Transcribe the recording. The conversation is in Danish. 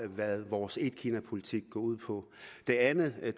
hvad vores etkinapolitik går ud på det andet jeg